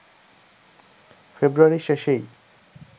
ফেব্রুয়ারির শেষেই